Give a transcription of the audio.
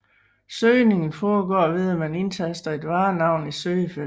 Søgningen foregår ved at man indtaster et varenavn i søgefeltet